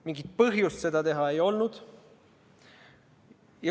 Mingit põhjust seda teha ei olnud.